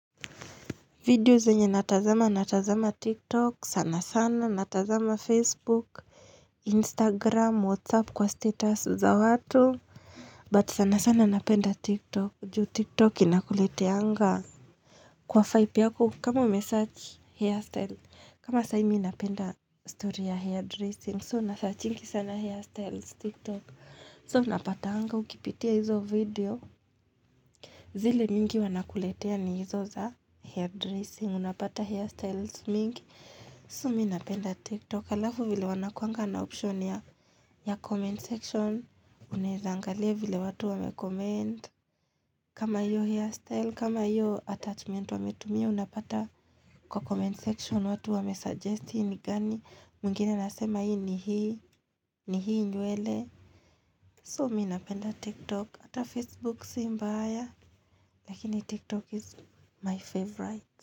Video zenye natazama natazama tiktok sana sana natazama facebook instagram whatsapp kwa status za watu but sana sana napenda tiktok juu tiktok inakuleteanga kwa fyo yako kama umesarch hairstyle kama sahi mimi ninapenda story ya hairdressing so unasearchingi sana hairstyles tiktok so unapatanga ukipitia hizo video zile mingi wanakuletea ni izo za hairdressing Unapata hairstyles mingi So mimi napenda tiktok alafu vile wanakuanga na option ya comment section Unaezangalia vile watu wamecomment kama iyo hairstyle, kama iyo attachment wametumia Unapata kwa comment section watu wamesuggesti ni gani mwingine anasema ni hii ni hii, ni hii nywele So mimi napenda tiktok hata facebook si mbaya Lakini tiktok is my favorite.